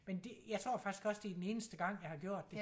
Men det jeg tror faktisk også det er den eneste gang jeg har gjort det